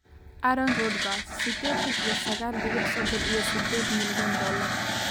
Aaron Rodgers sidetan iyo sagal dibic sodon iyo sided milyan dolar